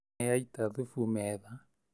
Nĩ aita thubu metha